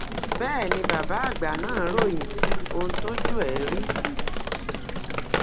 bẹẹ ni bàbá àgbà náà ròyìn ohun tójú ẹ rí